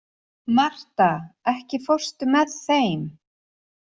Martha, ekki fórstu með þeim?